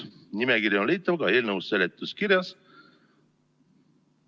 Nimekiri on leitav ka eelnõu seletuskirjas.